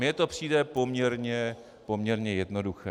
Mně to přijde poměrně jednoduché.